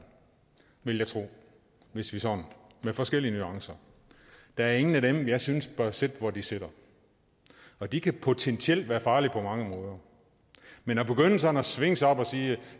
vil jeg tro med forskellige nuancer der er ingen af dem jeg synes bør sidde hvor de sidder og de kan potentielt være farlige på mange måder man kan begynde sådan at svinge sig op og sige